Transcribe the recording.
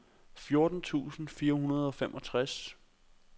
fjorten tusind fire hundrede og femogtres